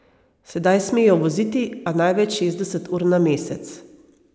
Sedaj smejo voziti, a največ šestdeset ur na mesec.